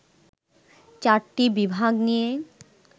চারটি বিভাগ নিয়ে